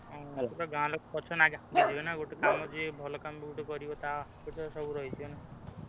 ଉଁ ସେଠି ଗାଁ ଲୋକ ପଛେରେ ଲାଗିଯିବେ କାମ ଯିଏ ଗୋଟେ ଭଲ କାମ ଯିଏ କରିବ ତା opposite ରେ ସବୁ ରହିଯିବେ ନା।